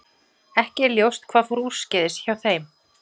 Ekki er ljóst hvað fór úrskeiðis hjá þeim.